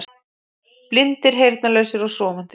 Blindir, heyrnarlausir og sofandi.